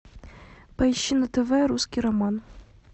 поищи на тв русский роман